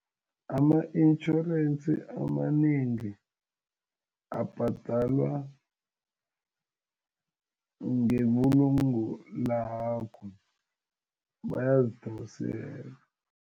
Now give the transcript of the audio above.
Ama-intjhorensi amanengi abhadalwa ngebulungo lakho bayazidosela.